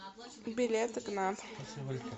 билет игнат